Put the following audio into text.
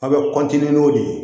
A' bɛ n'o de ye